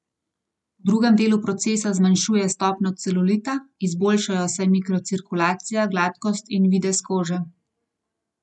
V drugem delu procesa zmanjšuje stopnjo celulita, izboljšajo se mikrocirkulacija, gladkost in videz kože.